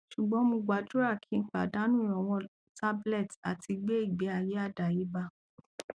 sugbon mo gbadura ki padanu iranlowo tablet ati gbe igbeaye adayeba